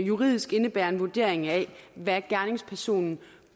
juridisk indebærer en vurdering af hvad gerningspersonen